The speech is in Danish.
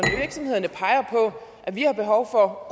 at vi har behov for